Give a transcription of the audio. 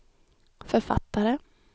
författare